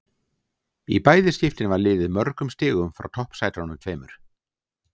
Í bæði skiptin var liðið mörgum stigum frá toppsætunum tveimur.